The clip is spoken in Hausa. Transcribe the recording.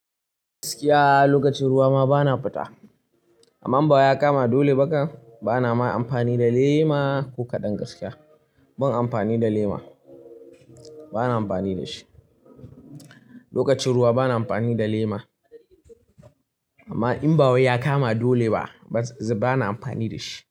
Gaskiya lokacin ruwa ma bana fita. Amma in bama ya kama dole bakam, bana ma amfani da lema ko kaɗan gaskiya. Ban amfani da lema, bana amfani da shi. Lokacin ruwa bana amfani da lema. Amma in bawa ya kama dole ba, bana amfani da shi.